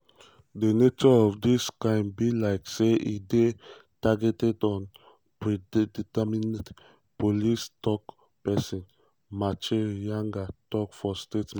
"di nature of dis crime be like say e dey targeted and predetermined" police tok-tok pesin muchiri nyaga tok for statement.